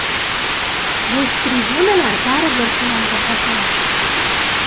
Bo‘sh tribunalar baribir finalga xos emas.